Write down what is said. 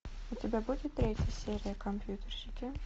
у тебя будет третья серия компьютерщики